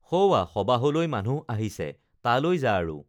সৌৱা সবাহলৈ মানুহ আহিছে তালৈ যা আৰু